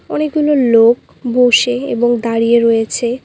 অনেকগুলো লোক বসে এবং দাঁড়িয়ে রয়েছে।